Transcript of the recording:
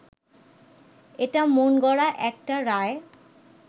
এটা মনগড়া একটা রায়